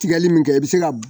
Tigɛli min kɛ i bi se ka